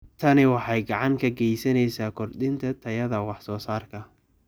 Tani waxay gacan ka geysaneysaa kordhinta tayada wax soo saarka.